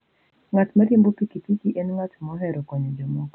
Ng'at ma riembo pikipiki en ng'at mohero konyo jomoko.